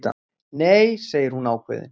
Nei, segir hún ákveðið.